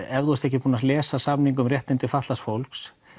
ef þú ert ekki búinn að lesa samning um réttindi fatlaðs fólks